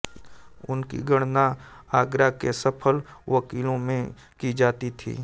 उनकी गणना आगरा के सफल वकीलों में की जाती थी